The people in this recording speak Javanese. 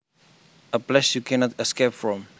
A place you cannot escape from